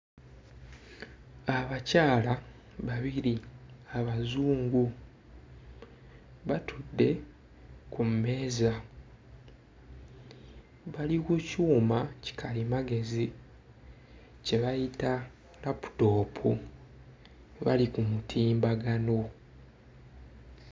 Abakyala babiri abazungu batudde ku mmeeza bali ku kyuma ki kalimagezi kye bayita laputoopu bali ku mutimbagano.